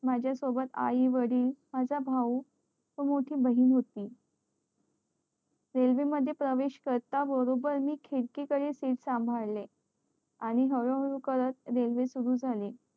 माझ्या सोबत आई वडील माझा भाऊ व मोठी बहीण होती रेल्वे मध्ये प्रवेश करता बरोबर मी खिडकी कडे seat सांभाळे आणि हळू हळू करत रेल्वे सुरु झाली